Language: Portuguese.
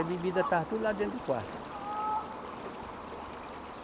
A bebida estava tudo lá dentro do quarto.